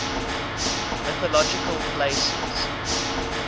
mythological places